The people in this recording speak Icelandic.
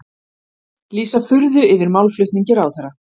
Lýsa furðu yfir málflutningi ráðherra